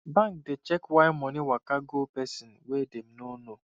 bank dey check why money waka go person wey dem no know